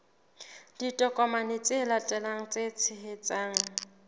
ditokomane tse latelang tse tshehetsang